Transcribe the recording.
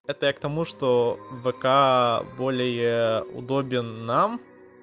это я к тому что вк более удобен нам